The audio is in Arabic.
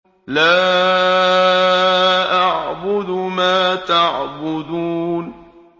لَا أَعْبُدُ مَا تَعْبُدُونَ